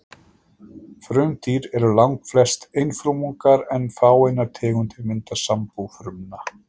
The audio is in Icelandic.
Frumdýr eru langflest einfrumungar en fáeinar tegundir mynda sambú frumna.